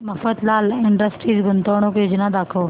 Mafatlal Industries गुंतवणूक योजना दाखव